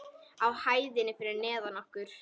Á hæðinni fyrir neðan okkur.